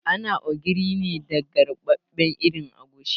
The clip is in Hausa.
Ana ogiri ne daga ruɓaɓɓen irin agushi